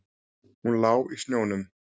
Hún lá í snjónum.